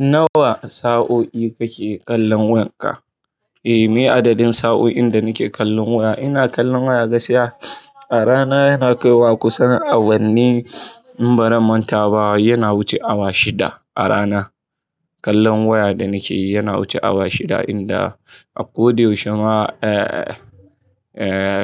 Nawa sa'o'i kake kallon wayarka? Eh, meye adadin sa'oin da nike kallon waya in ina kallon waya gaskiya a rana yana kaiwa kusan awanni in baran manta ba yana wuce awa shida a rana kallon waya da nikeyi yana wuce awa shida inda a koda yaushe ma,